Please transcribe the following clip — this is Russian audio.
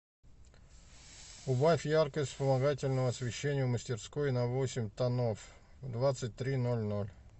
убавь яркость вспомогательного освещения в мастерской на восемь тонов в двадцать три ноль ноль